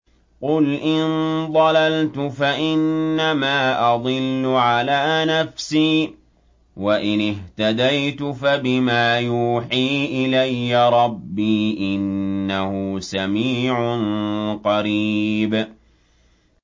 قُلْ إِن ضَلَلْتُ فَإِنَّمَا أَضِلُّ عَلَىٰ نَفْسِي ۖ وَإِنِ اهْتَدَيْتُ فَبِمَا يُوحِي إِلَيَّ رَبِّي ۚ إِنَّهُ سَمِيعٌ قَرِيبٌ